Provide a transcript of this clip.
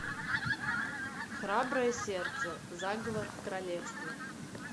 храброе сердце заговор в королевстве